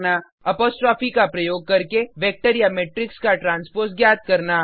apostrophe का प्रयोग करके वेक्टर या मेट्रिक्स का ट्रांसपोज ज्ञात करना